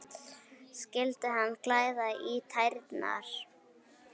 Skyldi hana klæja í tærnar?